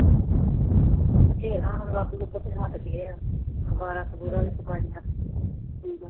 ਬਥੇਰਾ ਲੱਭ ਲੁੱਭ ਕੇ ਹੱਟ ਗਏ ਆ, ਅਖਬਾਰਾਂ ਅਖਬੂਰਾਂ ਚ ਪਾਈਆਂ ਠੀਕ ਆ